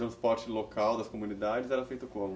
O transporte local das comunidades era feito como?